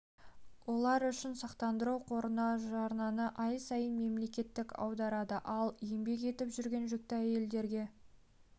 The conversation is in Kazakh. олар үшін сақтандыру қорына жарнаны ай сайын мемлекет аударады ал еңбек етіп жүрген жүкті әйелдерге